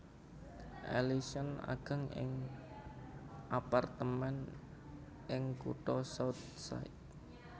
Ellison ageng ing apartemén ing kutha South Side